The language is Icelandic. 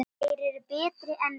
Þeir eru betri en við.